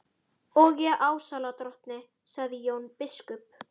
Og ég álasa drottni, sagði Jón biskup.